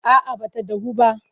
A'a ba ta dahu ba.